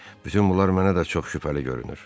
Bütün bunlar mənə də çox şübhəli görünür.